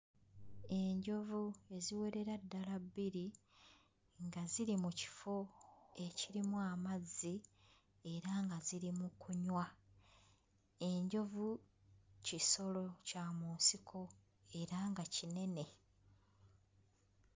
Enjovu eziwerera ddala bbiri nga ziri mu kifo ekirimu amazzi era nga ziri mu kunywa. Enjovu kisolo kya mu nsiko era nga kinene.